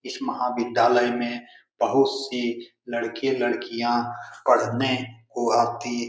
इस महाविद्यालय में बहुत से लड़के-लड़कियां पढने को आती --